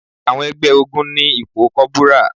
Àwọn ẹgbẹ́ ogún ní ipò kọ́bùrà.